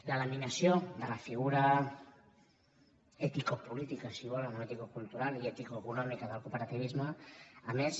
la laminació de la figura eticopolítica si volen o eticocultural i eticoeconòmica del cooperativisme a més